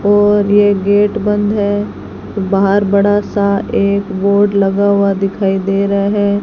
और ये गेट बंद है बाहर बड़ा सा एक बोर्ड लगा हुआ दिखाई दे रहा है।